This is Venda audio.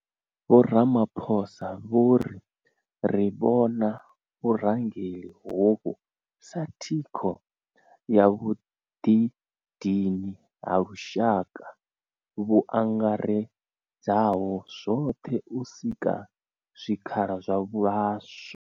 Vho Ramaphosa vho ri, Ri vhona vhurangeli hovhu sa thikho ya vhuḓidini ha lushaka vhu angaredzaho zwoṱhe u sika zwikhala zwa vhaswa.